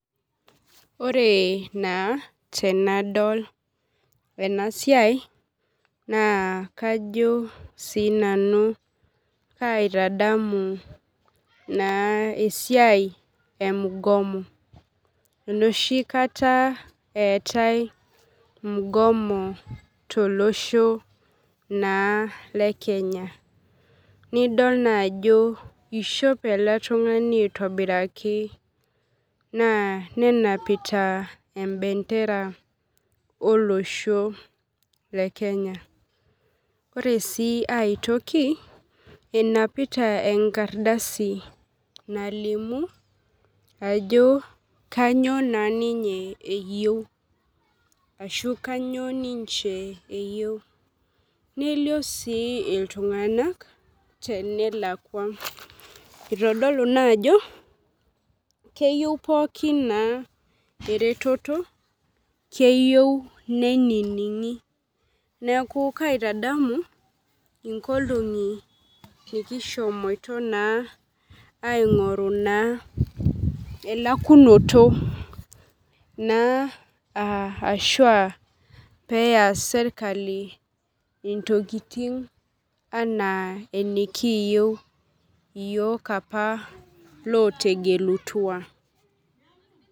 Ore naa tenadol ena siai naa kajo sii nanu kaitadamu naa esiai ee mgomo. Enoshi akata etae mgomo tolosho naa le Kenya. Nidol naa ajo ishopr ele tung'ani aitobiraki. Naa nenapita ee bendera oo losho le Kenya. Ore sii ae toki enapita enkardasi nalimu ajo kainyo ninye eyeu ashu kainyoo ninche eyeu. Nelio sii iltung'ana tenelakua. Itodolu naa ajo keyeu pookin ing'ae eretoto, keyeu neining'i. Neeku kaitadamu inkolongi nikishomoitoo naa aing'oru naa elakunoto naa aa ashua peyas serikali intokitin enaa enikiyou iyiok apaa loo tegelitua.